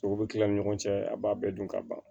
Sow bɛ kila an ni ɲɔgɔn cɛ a b'a bɛɛ dun ka ban